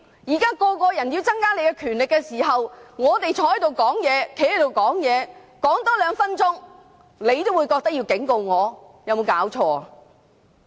現在一些議員要增加你的權力，而我們站起來多發言2分鐘，你也要警告，有沒有搞錯？